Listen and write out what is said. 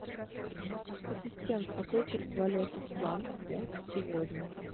ассистент какой курс валюты франк фунт сегодня